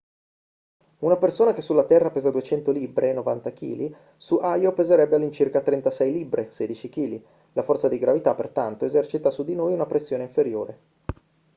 una persona che sulla terra pesa 200 libbre 90 kg su io peserebbe all'incirca 36 libbre 16 kg. la forza di gravità pertanto esercita su di noi una pressione inferiore